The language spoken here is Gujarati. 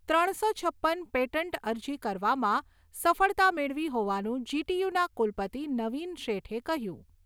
ત્રણસો છપ્પન પેટન્ટ અરજી કરવામાં સફળતા મેળવી હોવાનું જી.ટી.યુ.ના કુલપતિ નવીન શેઠે કહ્યું.